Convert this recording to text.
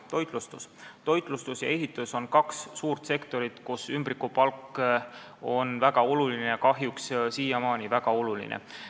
Toitlustus ja ehitus on kaks suurt sektorit, kus ümbrikupalk on väga oluline, kahjuks on see siiamaani seal väga oluline.